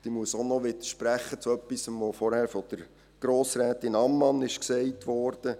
Ich muss auch noch zu etwas widersprechen, das vorhin von Grossrätin Ammann gesagt wurde.